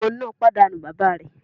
Ọmọ náà pàdánù bàbá rẹ̀.